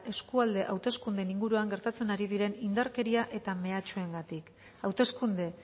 eskualde hauteskundeen inguruan gertatzen ari diren indarkeria eta mehatxuengatik hauteskunde